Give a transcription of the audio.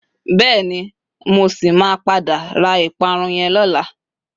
Beeni. Mo si ma pada ra iparun yen lola